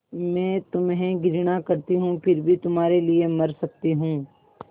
मैं तुम्हें घृणा करती हूँ फिर भी तुम्हारे लिए मर सकती हूँ